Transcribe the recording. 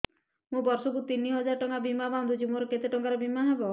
ମୁ ବର୍ଷ କୁ ତିନି ହଜାର ଟଙ୍କା ବୀମା ବାନ୍ଧୁଛି ମୋର କେତେ ଟଙ୍କାର ବୀମା ହବ